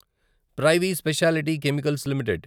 privy speciality chemicals limited